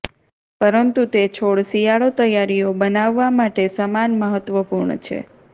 પરંતુ તે છોડ શિયાળો તૈયારીઓ બનાવવા માટે સમાન મહત્વપૂર્ણ છે